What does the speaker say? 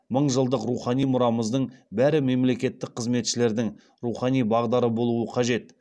мың жылдық рухани мұрамыздың бәрі мемлекеттік қызметшілердің рухани бағдары болуы қажет